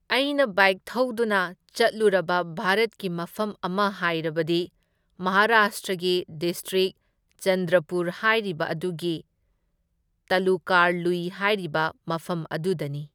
ꯑꯩꯅ ꯕꯥꯏꯛ ꯊꯧꯗꯨꯅ ꯆꯠꯂꯨꯔꯕ ꯚꯥꯔꯠꯀꯤ ꯃꯐꯝ ꯑꯃ ꯍꯥꯏꯔꯕꯗꯤ ꯃꯍꯥꯔꯥꯁꯇ꯭ꯔꯒꯤ ꯗꯤꯁꯇ꯭ꯔꯤꯛ ꯆꯟꯗ꯭ꯔꯄꯨꯔ ꯍꯥꯏꯔꯤꯕ ꯑꯗꯨꯒꯤ ꯇꯥꯂꯨꯀꯥꯔ ꯂꯨꯏ ꯍꯥꯏꯔꯤꯕ ꯃꯐꯝ ꯑꯗꯨꯗꯅꯤ꯫